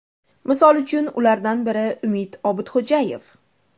Misol uchun, ulardan biri Umid Obidxo‘jayev.